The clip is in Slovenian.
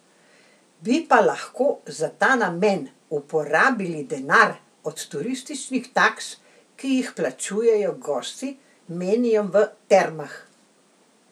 Bi pa lahko za ta namen uporabili denar od turističnih taks, ki jih plačujejo gosti, menijo v Termah.